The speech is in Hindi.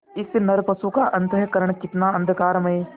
इस नरपशु का अंतःकरण कितना अंधकारमय